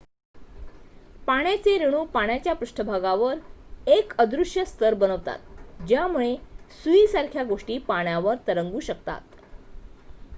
पाण्याचे रेणू पाण्याच्या पृष्ठभागावर एक अदृश्य स्तर बनवतात ज्यामुळे सुईसारख्या गोष्टी पाण्यावर तरंगू शकतात